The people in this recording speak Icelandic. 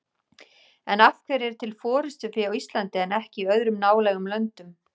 En af hverju er til forystufé á Íslandi en ekki í öðrum nálægum löndum?